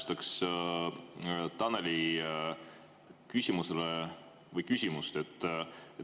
Ma siiski täpsustaks Taneli küsimust.